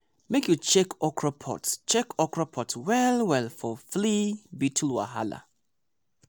make you check okra pods check okra pods well well for flea beetle wahala.